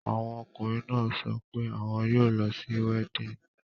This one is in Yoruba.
Àwọn ọkùnrin náà sọ pé àwọn yóò lọ sí weddinfg.